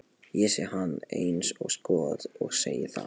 Ég sé hann eins og skot og segi það.